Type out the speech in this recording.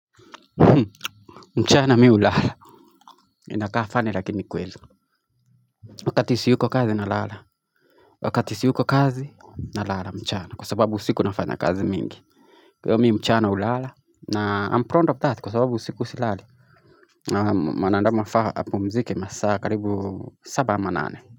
Mchana mimi hulala inakaa funny lakini ni kweli wakati siyuko kazi nalala wakati siyuko kazi nalala mchana kwa sababu usiku nafanya kazi mingi kwa hiyo mimi mchana hulala na I'm proud of that kwa sababu usiku silali na mwanadamu anafaa apumzike masaa karibu saba ama nane.